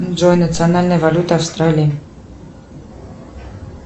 джой национальная валюта австралии